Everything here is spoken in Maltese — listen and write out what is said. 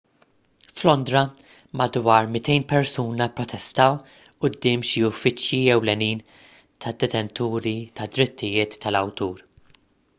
f'londra madwar 200 persuna pprotestaw quddiem xi uffiċċji ewlenin tad-detenturi tad-drittijiet tal-awtur